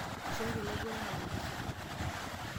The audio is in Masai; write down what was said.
Eishooki laiguranak orusa.